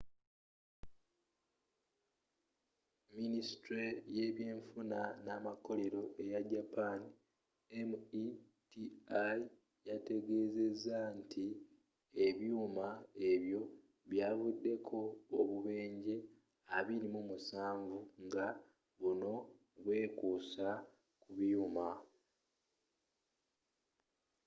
minisitule y’ebyenfuna n’amakolero eya japan meti yategezezza nti ebyuma ebyo byavuddeko obubenjje 27 nga buno bwekuusa ku byuma